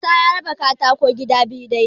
Isa ya raba katako gida biyu dai-dai.